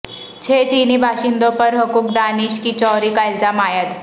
چھ چینی باشندوں پر حقوق دانش کی چوری کا الزام عائد